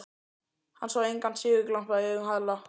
Hann sá engan sigurglampa í augunum á Halla.